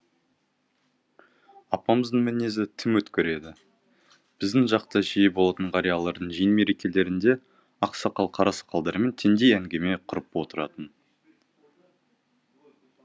апамыздың мінезі тым өткір еді біздің жақта жиі болатын қариялардың жиын мерекелерінде ақсақал қарасақалдармен теңдей әңгіме құрып отыратын